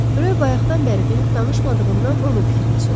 Röv bayaqdan bəri dinib danışmadığından onun fikrini soruşdular.